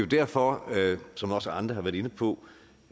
derfor som også andre har været inde på